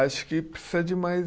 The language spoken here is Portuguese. Acho que precisa de mais